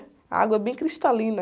A água é bem cristalina.